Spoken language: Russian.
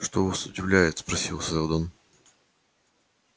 что вас удивляет спросил сэлдон